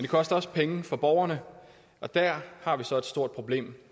koster også penge for borgerne og der har vi så et stort problem